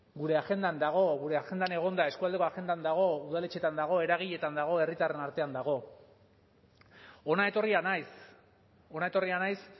gure agendan dago gure agendan egon da euskualdeko agendan dago udaletxetan dago eragiletan dago herritarren artean dago hona etorria naiz hona etorria naiz